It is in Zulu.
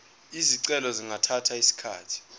izicelo zingathatha isikhathi